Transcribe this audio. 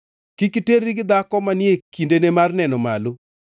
“ ‘Kik iterri gi dhako manie kindene mar neno malo.